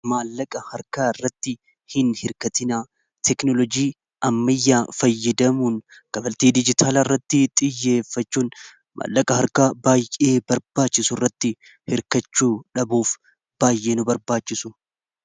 Maallaqa harkaa irratti hin hirkatinaa teeknolojii ammayyaa fayyadamuun kaffaltii dijitaalaa irratti xiyyeeffachuun maallaqa harka baay'ee barbaachisu irratti hirkachuu dhabuuf baay'ee nu barbaachisa.